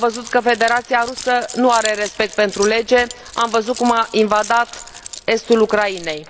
Am văzut că Federația Rusă nu are respect pentru lege, am văzut cum a invadat estul Ucrainei.